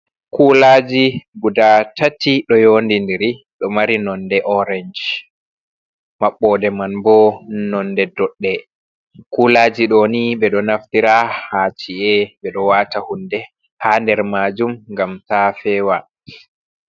Kulaaji gudaa tati ɗo yo ndidiri. Ɗo mari nonde orensh maɓɓode man bo nonde doɗɗe. Kulaaji ɗo ni, ɓe ɗo naftira haa ci’e. Ɓe ɗo waata hunde haa nder maajum ngam taa fewa.